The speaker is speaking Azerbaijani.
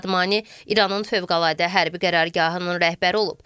Şadmani İranın fövqəladə hərbi qərargahının rəhbəri olub.